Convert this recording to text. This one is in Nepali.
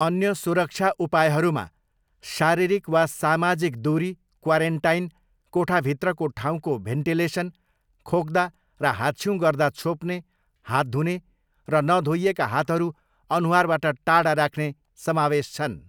अन्य सुरक्षा उपायहरूमा शारीरिक वा सामाजिक दुरी, क्वारेन्टाइन, कोठाभित्रको ठाउँको भेन्टिलेसन, खोक्दा र हाँच्छ्युँ गर्दा छोप्ने, हात धुने र नधोइएका हातहरू अनुहारबाट टाढा राख्ने समावेश छन्।